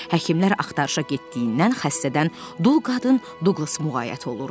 Həkimlər axtarışa getdiyindən xəstədən dul qadın Duqlas müğayət olurdu.